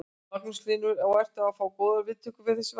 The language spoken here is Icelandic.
Magnús Hlynur: Og ertu að fá góðar viðtökur við þessu verkefni?